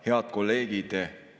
Head kolleegid!